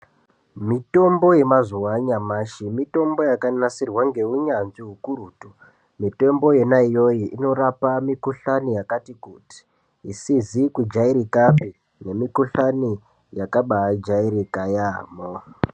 Mitombl yemazuwa anyamashi mitombo yakanasirwa neunyanzvi ukurutu. Mitombo yona iyoyo inorape mikhuhlane yakakati kuti isizi kujairikapi nemikhuhlane yakabakairika yaambo.